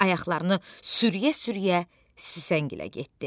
Ayaqlarını sürüyə-sürüyə Süsləngilə getdi.